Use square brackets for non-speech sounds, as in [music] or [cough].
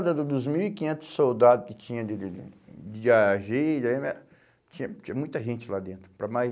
da da dos mil e quinhentos soldados que tinha de de de de agir, [unintelligible] tinha tinha muita gente lá dentro. Para mais